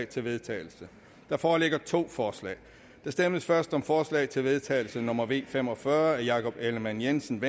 til vedtagelse der foreligger to forslag der stemmes først om forslag til vedtagelse nummer v fem og fyrre af jakob ellemann jensen